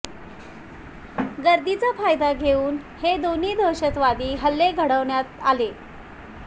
गर्दीचा फायदा घेऊन हे दोन्ही दहशतवादी हल्ले घडवण्यात आले